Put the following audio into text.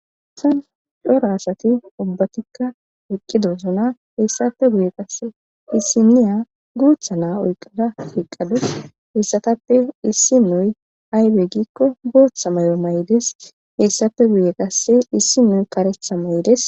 assan cora asati ubbatikka eqqido zona heessape guye qasse issi niya guutha naa oyqada kiqadus hessatappe issi nuy aybey giikko gooththa may7o may7des heessafe guye qasse issi nuy karetha may7ides